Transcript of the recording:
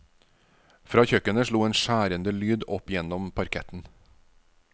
Fra kjøkkenet slo en skjærende lyd opp gjennom parketten.